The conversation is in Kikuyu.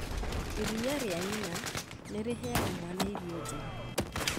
Iria rĩa nyina nĩ rĩheaga mwana irio njega,